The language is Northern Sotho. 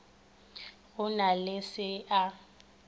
go na le se a